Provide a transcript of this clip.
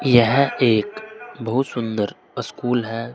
यह एक बहुत सुंदर स्कूल है।